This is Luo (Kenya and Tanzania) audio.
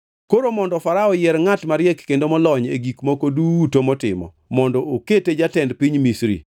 “Koro mondo Farao oyier ngʼat mariek kendo molony e gik moko duto motimo mondo okete jatend piny Misri.